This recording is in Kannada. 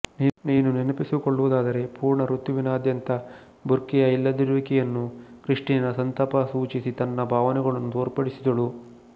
ನೀನು ನೆನಪಿಸಿಕೊಳ್ಳುವುದಾದರೆ ಪೂರ್ಣ ಋತುವಿನಾದ್ಯಂತ ಬುರ್ಕೆಯ ಇಲ್ಲದಿರುವಿಕೆಯನ್ನು ಕ್ರಿಸ್ಟಿನಾ ಸಂತಾಪ ಸೂಚಿಸಿ ತನ್ನ ಭಾವನೆಗಳನ್ನು ತೋರ್ಪಿಡಿಸಿದಳು